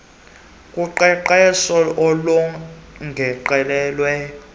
kunikelwa kuqeqesho olongezelelweyo